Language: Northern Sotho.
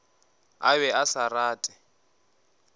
a be a sa rate